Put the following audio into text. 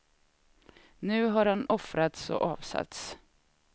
Nu har han offrats och avsatts.